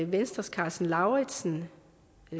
venstres karsten lauritzen